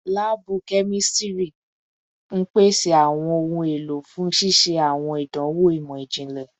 Laabu kemistri n pese awọn ohun elo fun ṣiṣe awọn idanwo imọ-jinlẹ